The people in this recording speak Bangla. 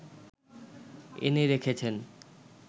এনে রেখেছেন